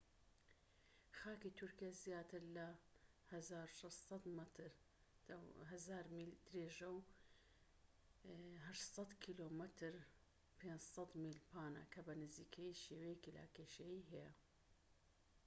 خاکی تورکیا زیاتر لە 1,600 مەتر 1000 میل درێژە و 800 کم 500 میل پانە، کە بە نزیکەیی شێوەیەکی لاکێشەیی هەیە